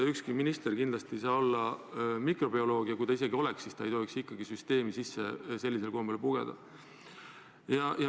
Ükski minister ei saa olla mikrobioloog ja isegi kui oleks, siis ei tohiks ta sellisel kombel süsteemi sisse pugeda.